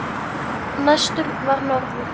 Næstur var norður.